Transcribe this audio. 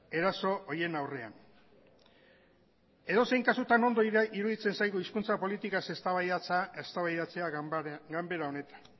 eraso horien aurrean edozein kasutan ondo iruditzen zaigu hizkuntza politikaz eztabaidatzea ganbara honetan